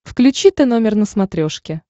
включи тномер на смотрешке